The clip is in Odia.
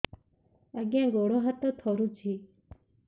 ଆଜ୍ଞା ଗୋଡ଼ ହାତ ଥରୁଛି